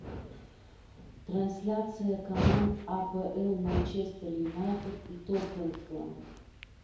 трансляция команд апл манчестер юнайтед и тоттенхэм